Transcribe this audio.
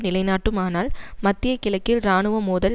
நிலைநாட்டுமானால் மத்திய கிழக்கில் இராணுவ மோதல்